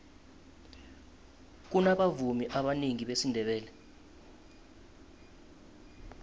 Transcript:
kunabavumi abanengi besindebele